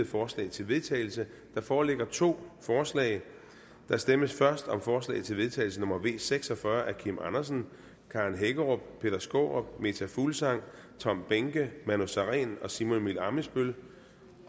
forslag til vedtagelse der foreligger to forslag der stemmes først om forslag til vedtagelse nummer v seks og fyrre af kim andersen karen hækkerup peter skaarup meta fuglsang tom behnke manu sareen og simon emil ammitzbøll